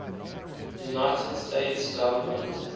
united states government